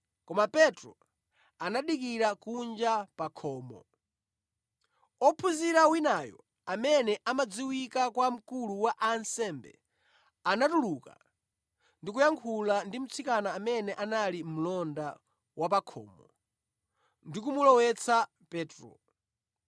koma Petro anadikira kunja pa khomo. Ophunzira winayo amene amadziwika kwa mkulu wa ansembe, anatuluka ndi kuyankhula ndi mtsikana amene anali mlonda wa pa khomo ndi kumulowetsa Petro.